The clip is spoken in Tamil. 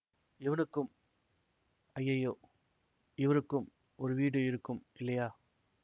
இவனுக்கும் ஐயையோ இவருக்கும் ஒரு வீடு இருக்கும் இல்லையா